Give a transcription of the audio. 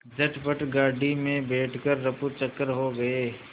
झटपट गाड़ी में बैठ कर ऱफूचक्कर हो गए